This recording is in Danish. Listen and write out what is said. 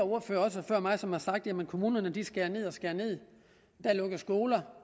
ordførere før mig som har sagt jamen kommunerne skærer ned og skærer ned der lukkes skoler